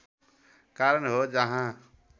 कारण हो जहाँ